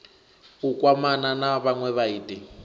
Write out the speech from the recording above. u kwamana na vhanwe vhaiti